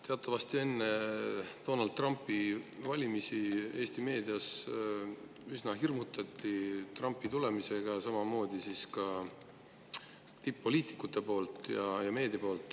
Teatavasti enne Donald Trumpi valimist Eesti meedia ja samamoodi tipp-poliitikud üsna hirmutasid Trumpi tulemisega.